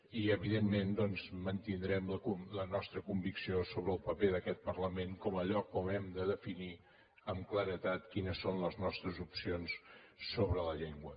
i evidentment doncs mantindrem la nostra convicció sobre el paper d’aquest parlament com a lloc on hem de definir amb claredat quines són les nostres opcions sobre la llengua